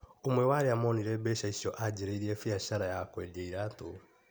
ũmwe wa arĩa monire mbeca icio anjĩrĩirie biacara ya kwendia iratũ.